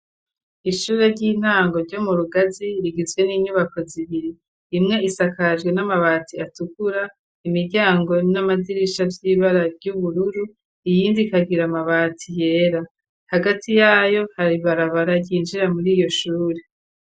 Ishure ry'intango ryo mu Rugazi rigizwe n'inyubako zibiri imwe isakajwe n'amabati atukura imiryango n'amadirisha vy'ibara ry'ubururu iyindi ikagira amabati yera hagati yayo hari ibarabara ryinjira muriyo shure.